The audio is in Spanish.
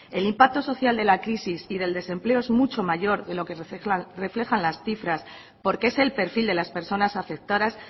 el impacto social de la crisis y del desempleo es mucho mayor de lo que reflejan las cifras porque es el perfil de las personas afectadas